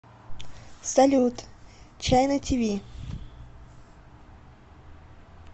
салют чайна ти ви